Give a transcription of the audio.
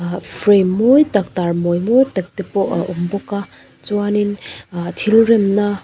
frame mawi tak tarmawi mawi tak te pawh a awm bawk a chuangin ah thil remna.